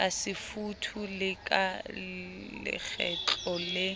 kasefuthu le ka lekgetlo le